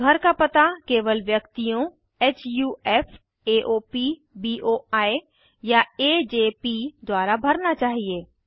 घर का पता केवल व्यक्तियों हुफ एओपी बोई या एजेपी द्वारा भरना चाहिए